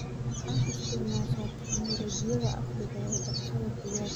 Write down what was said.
Waxaad Isticmasha tignolojiyadha casriga ah ee dhaqashada digaaga.